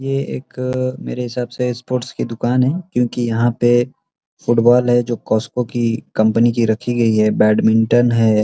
ये एक मेरे हिसाब से एक स्पोर्ट्स की दुकान है क्योंकि यहाँ पे फुटबॉल है जो कोस्को की कम्पनी की रखी गई है और बेडमिंटन है।